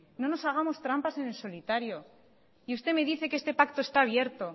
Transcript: no nos hagamos trampas en el solitario y usted me dice que este pacto está abierto